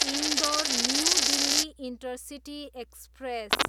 Indore, New Delhi intercity express